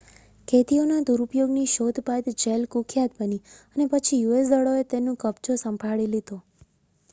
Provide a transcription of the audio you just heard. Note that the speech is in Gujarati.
કેદીઓના દુરુપયોગની શોધ બાદ જેલ કુખ્યાત બની અને પછી યુએસ દળોએ તે નું કબજો સંભાળી લીધો